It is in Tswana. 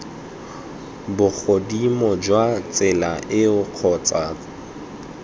bogodimong jwa tsela eo kgotsa